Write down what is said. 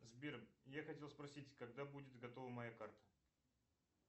сбер я хотел спросить когда будет готова моя карта